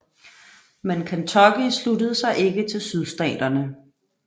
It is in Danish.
Men Kentucky sluttede sig ikke til Sydstaterne